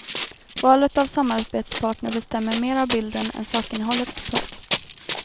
Valet av samarbetspartner bestämmer mer av bilden än sakinnehållet. punkt